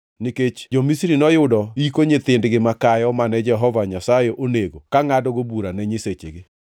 nikech jo-Misri noyudo yiko nyithindgi makayo mane Jehova Nyasaye onego ka ngʼadogo bura ne nyisechegi.